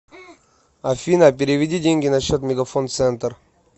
афина переведи деньги на счет мегафон центр